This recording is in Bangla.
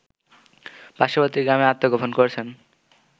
পার্শ্ববর্তী গ্রামে আত্মগোপন করেছেন